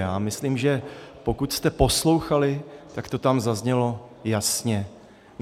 Já myslím, že pokud jste poslouchali, tak to tam zaznělo jasně.